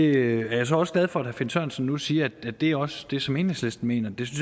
er så også glad for at herre finn sørensen nu siger at det også er det som enhedslisten mener det